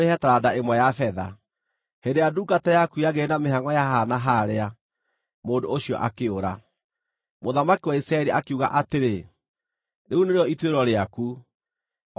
Hĩndĩ ĩrĩa ndungata yaku yagĩire na mĩhangʼo ya haha na harĩa mũndũ ũcio akĩũra.” Mũthamaki wa Isiraeli akiuga atĩrĩ, “Rĩu nĩrĩo ituĩro rĩaku, o ta ũguo wee mwene woiga.”